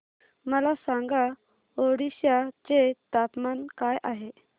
मला सांगा ओडिशा चे तापमान काय आहे